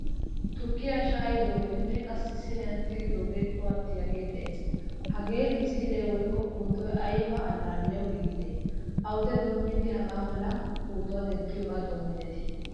Tukkiyaa shayidogene qassi siiniyan tigidoge cuwatiyage de'ees. Hagee misile woykko pootoy ayba allaliyawu giigide? Awude doomidi hagaa mala pootuwaa denttiyoge doomettide?